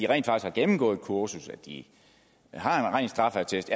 rent faktisk gennemgået et kursus de har en ren straffeattest